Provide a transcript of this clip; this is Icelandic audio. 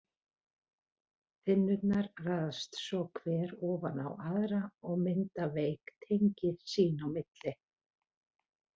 Þynnurnar raðast svo hver ofan á aðra og mynda veik tengi sín á milli.